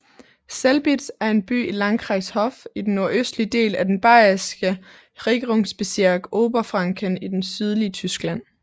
Selbitz er en by i Landkreis Hof i den nordøstlige del af den bayerske regierungsbezirk Oberfranken i det sydlige Tyskland